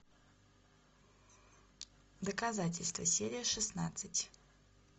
доказательство серия шестнадцать